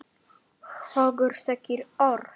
Hvorug segir orð.